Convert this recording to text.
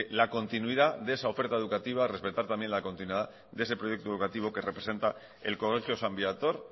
la continuidad de esa oferta educativa respetar también la continuidad de ese proyecto educativo que representa el colegio san viator